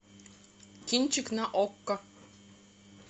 кинчик на окко